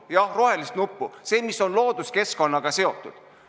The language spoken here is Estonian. Jah, rohelist nuppu – seda, mis on looduskeskkonnaga seotud.